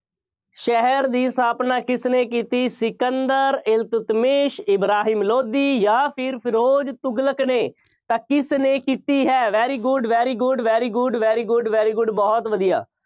ਸ਼ਹਿਰ ਦੀ ਸਥਾਪਨਾ ਕਿਸਨੇ ਕੀਤੀ? ਸਿਕੰਦਰ, ਇਲਤਤਮੀਸ, ਇਬਰਾਹਿਮ ਲੋਧੀ, ਜਾਂ ਫਿਰ ਫਿਰੋਜ਼ ਤੁਗਲਕ ਨੇ, ਤਾਂ ਕਿਸਨੇ ਕੀਤੀ ਹੈ। very good, very good, very good, very good, very good ਬਹੁਤ ਵਧੀਆ।